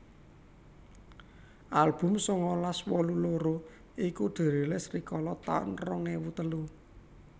Album sangalas wolu loro iku dirilis rikala taun rong ewu telu